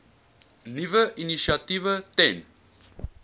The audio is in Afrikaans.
nuwe initiatiewe ten